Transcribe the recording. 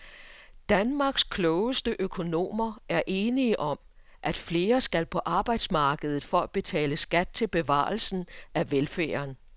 Danmarks klogeste økonomer er enige om, at flere skal på arbejdsmarkedet for at betale skat til bevarelse af velfærden.